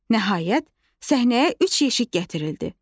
Nəhayət, səhnəyə üç yeşik gətirildi.